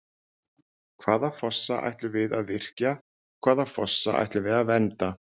Hvaða fossa ætlum við að virkja og hvaða fossa ætlum við að vernda?